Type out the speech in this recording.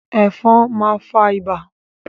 Ẹ̀fọn ma fa ibà.